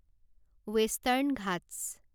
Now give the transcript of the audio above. western Ghats